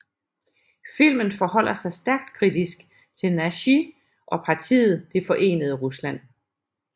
Filmen forholder sig stærkt kritisk til Nashi og partiet Det Forenede Rusland